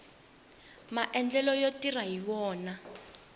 maendlelo yo tirha hi wona